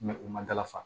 u ma dalafa